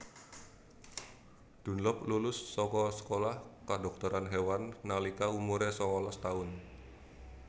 Dunlop lulus saka sekolah Kedhokteran Hewan nalika umure sangalas taun